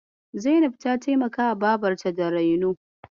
Zainab ta taimaka babarta da raino.